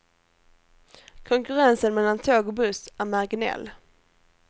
Konkurrensen mellan tåg och buss är marginell.